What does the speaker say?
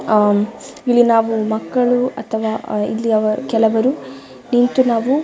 ಆಹ್ಹ್ ಇಲ್ಲಿ ನಾವು ಮಕ್ಕಳು ಅಥವಾ ಇಲ್ಲಿ ಕೆಲವರು ನಿಂತು ನಾವು--